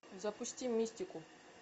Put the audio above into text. запусти мистику